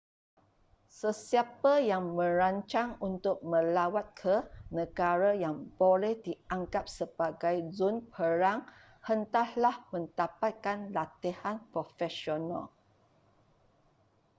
sesiapa yang merancang untuk melawat ke negara yang boleh dianggap sebagai zon perang hendaklah mendapatkan latihan profesional